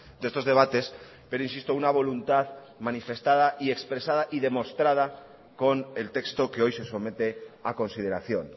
de estos debates pero insisto una voluntad manifestada y expresada y demostrada con el texto que hoy se somete a consideración